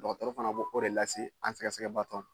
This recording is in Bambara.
Dɔgɔtɔrɔ fana b'o o de lase an sɛgɛsɛgɛbaatɔ ma